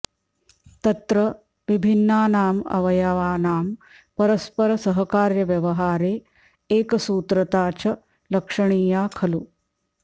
तत्र विभिन्नानाम् अवयवानां परस्परसहकार्यव्यवहारे एकसूत्रता च लक्षणीया खलु